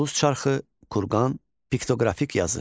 Duluz çarxı, kurqan, piktoqrafik yazı.